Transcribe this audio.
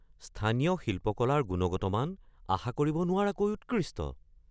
স্থানীয় শিল্পকলাৰ গুণগত মান আশা কৰিব নোৱাৰাকৈ উৎকৃষ্ট।